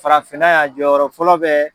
Farafinna yan jɔyɔrɔ fɔlɔ bɛ